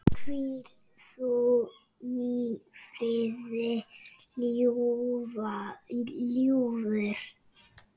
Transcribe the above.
Hvíl þú í friði, ljúfur.